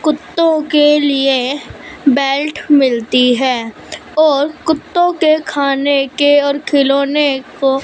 कुत्तों के लिए बेल्ट मिलती है और कुत्तों के खाने के और खिलौनो को--